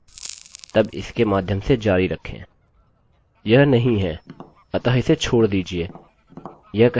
यह नहीं है अतः इसे छोड़ दीजिये यह कहेगा नामname= एलेक्सalex और फिर पुनः सबसे ऊपर जाएगा